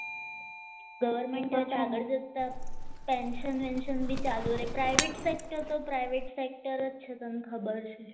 government આગળ જતા tension tension બી ચાલુ રે પ્રાઇવેટ સેટ કરતો પ્રાઇવેટ સેક્ટર જ છે તને ખબર છે